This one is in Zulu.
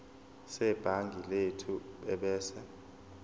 sebhangi lethu ebese